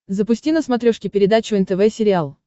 запусти на смотрешке передачу нтв сериал